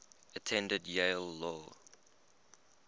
attended yale law